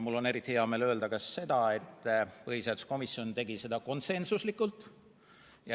Mul on eriti hea meel öelda ka seda, et põhiseaduskomisjon tegi seda konsensuslikult.